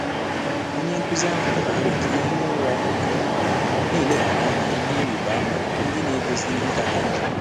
Ọ́nyé nkụ́zí áhụ́ tụ́rụ̀ àrò kà ị́ hìé ụ́rà nké ọ́mà, nà-élèghàrà ìhè ị́rị́bà ámà ndị́ nà-égósí ìhè kà kà njọ́.